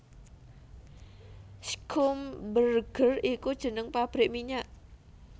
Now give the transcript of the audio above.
Schlumberger iku jeneng pabrik minyak